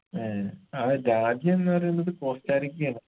ഏർ ആ രാജ്യംന്ന് പറയുന്നത് കോസ്റ്റാറിക്കയാണ്